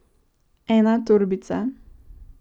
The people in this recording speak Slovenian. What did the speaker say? Ena torbica.